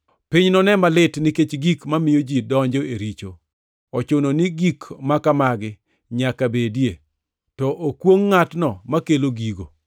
“Piny none malit nikech gik mamiyo ji donjo e richo! Ochuno ni gik makamagi nyaka bedie, to okwongʼ ngʼatno makelo gigo!